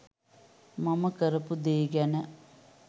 මම කරපු දේ ගැන